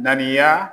Ŋaniya